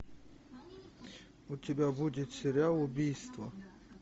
у тебя будет сериал убийство